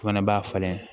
O fana b'a falen